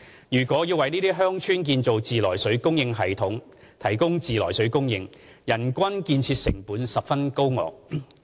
如要為這些偏遠鄉村建造自來水供應系統提供自來水供應，人均建設成本十分高昂。